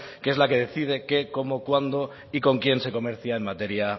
que es la que decide qué cómo cuándo y con quién se comercia en materia